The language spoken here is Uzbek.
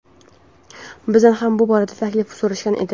Bizdan ham bu borada taklif so‘rashgan edi.